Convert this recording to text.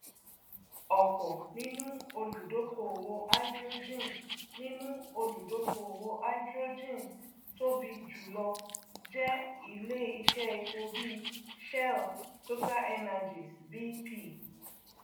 ọpọ nínú olùdókóòwò háídírójìn nínú olùdókóòwò háídírójìn tóbi jùlọ jẹ ilé iṣẹ epo bíi shell totalenergies bp